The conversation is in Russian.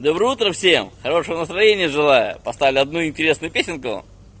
доброе утро всем хорошего настроения желаю поставлю одну интересную песенку